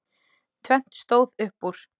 Tvennt stóð upp úr.